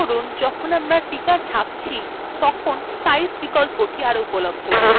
লক্ষ্য করুন যখন আমরা টিকা ছাপছি তখন size বিকল্পটি are উপলব্ধ নেই